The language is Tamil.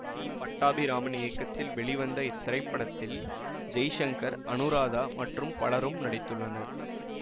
பி பட்டாபிராமன் இயக்கத்தில் வெளிவந்த இத்திரைப்படத்தில் ஜெய்சங்கர் அனுராதா மற்றும் பலரும் நடித்துள்ளனர்